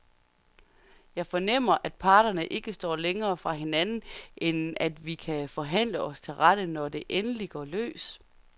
Jeg fornemmer, at parterne ikke står længere fra hinanden, end at vi kan forhandle os til rette, når det endelig går løs.